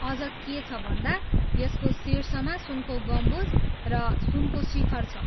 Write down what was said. अझ के छ भन्दा यसको शीर्षमा सुनको गुम्बज र सुनको शिखर छ।